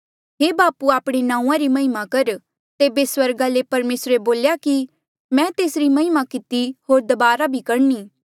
हे बापू आपणे नांऊँआं री महिमा कर तेबे स्वर्गा ले परमेसरे बोल्या कि मैं तेसरी महिमा किती होर दबारा बी करणी